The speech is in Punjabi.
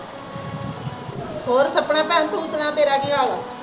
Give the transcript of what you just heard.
ਹੋਰ ਸਪਨਾ ਭੈਣ ਤੂੰ ਸੁਣਾ ਤੇਰਾ ਕੀ ਹਾਲ ਹੈ